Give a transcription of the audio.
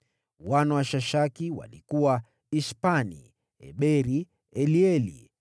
Wana wa Shashaki walikuwa Ishpani, Eberi, Elieli,